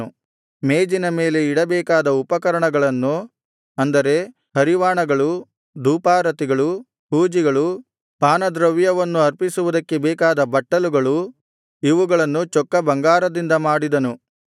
ಮೇಜಿನ ಮೇಲೆ ಇಡಬೇಕಾದ ಉಪಕರಣಗಳನ್ನು ಅಂದರೆ ಹರಿವಾಣಗಳು ಧೂಪಾರತಿಗಳು ಹೂಜಿಗಳು ಪಾನದ್ರವ್ಯವನ್ನು ಅರ್ಪಿಸುವುದಕ್ಕೆ ಬೇಕಾದ ಬಟ್ಟಲುಗಳು ಇವುಗಳನ್ನು ಚೊಕ್ಕ ಬಂಗಾರದಿಂದ ಮಾಡಿದನು